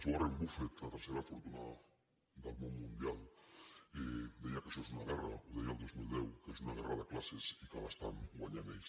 warren buffett la tercera fortuna del món mundial deia que això és una guerra ho deia el dos mil deu de classes i que la guanyen ells